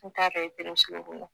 N t'a dɔn e pereselen kun don